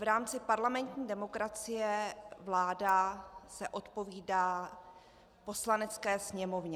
V rámci parlamentní demokracie se vláda odpovídá Poslanecké sněmovně.